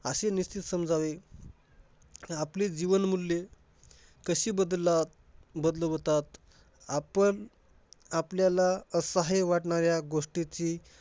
अशी निश्चित समजावी. आपली जीवनमूल्य कशी बदला~ बदलावतात आपण~ आपल्याला असहाय वाटणाऱ्या गोष्टीची